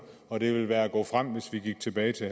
og det ville være at gå frem hvis vi gik tilbage til